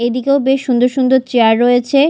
এদিকেও বেশ সুন্দর সুন্দর চেয়ার রয়েছে।